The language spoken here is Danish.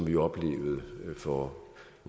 jo oplevede for